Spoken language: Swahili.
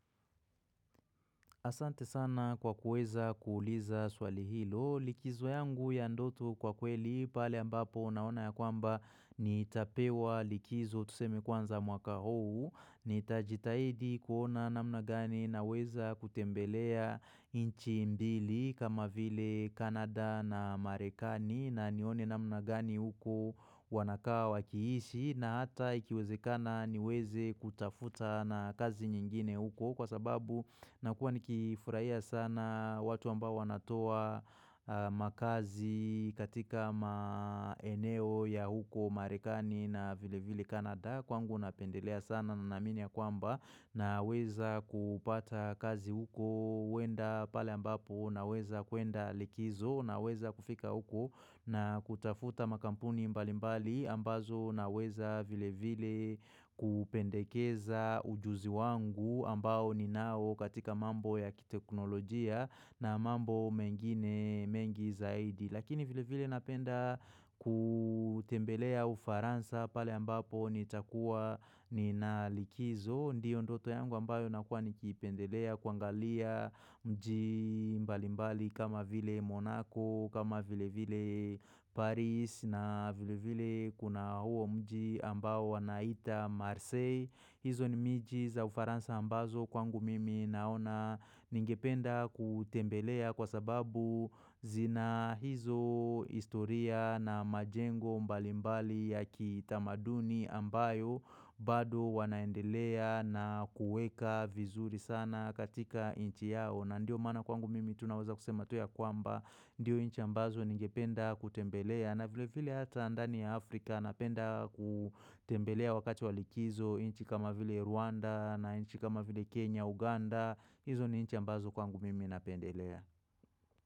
Asante sana kwa kuweza kuuliza swali hilo, likizo yangu ya ndotu kwa kweli, pale ambapo unaona ya kwamba nitapewa likizo tusemi kwanza mwaka huu, nita jitaidi kuona na mnagani na weza kutembelea inchi mbili kama vile Kanada na Marekani na nione na mnagani huku wanakawa kiishi, na hata ikiwezekana niweze kutafuta na kazi nyingine huko kwa sababu nakuwa nikifurahia sana watu amba wanatoa makazi katika maeneo ya huko marekani na vile vile kanada kwangu napendelea sana na minia kwamba na weza kupata kazi huko wenda pale ambapo na weza kuenda likizo na weza kufika huku na kutafuta makampuni mbali mbali ambazo naweza vile vile kupendekeza ujuzi wangu ambao ni nao katika mambo ya kiteknolojia na mambo mengine mengi zaidi. Lakini vile vile napenda kutembelea ufaransa pale ambapo nitakua ni nalikizo Ndiyo ndoto yangu ambayo nakua nikipendelea kwangalia mji mbali mbali kama vile Monako kama vile vile Paris na vile vile kuna uo mji ambao wanaita Marseille hizo ni miji za ufaransa ambazo kwangu mimi naona ningependa kutembelea kwa sababu zina hizo historia na majengo mbalimbali ya kitamaduni ambayo bado wanaendelea na kueka vizuri sana katika inchi yao na ndio maana kwangu mimi tunawaza kusema tu ya kwamba ndio inchi ambazo ningependa kutembelea na vile vile hata ndani ya Afrika napenda kutembelea wakati walikizo inchi kama vile Rwanda na inchi kama vile Kenya, Uganda hizo ni inchi ambazo kwangu mimi napendelea.